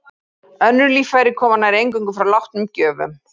Önnur líffæri koma nær eingöngu frá látnum gjöfum.